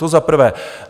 To za prvé.